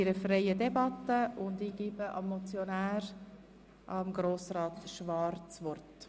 Wir führen eine freie Debatte und ich gebe dem Motionär das Wort.